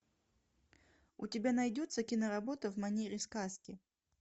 у тебя найдется киноработа в манере сказки